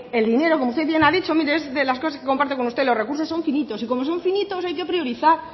el dinero como usted bien ha dicho mire es de las cosas que comparto con usted los recursos son finitos y como son finitos hay que priorizar